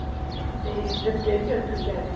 ਤੇ ਫ਼ਰ ਕਿਹੜੀ country ਜਾਣਾ